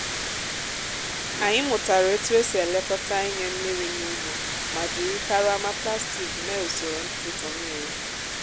anyị mụtara otu esi elekọta ịnye mmiri n'ugbo ma jiri karama plastik mee usoro ntụtụ mmiri.